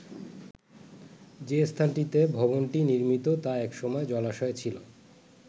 যে স্থানটিতে ভবনটি নির্মিত তা একসময় জলাশয় ছিল।